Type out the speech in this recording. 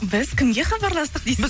біз кімге хабарластық дейсіз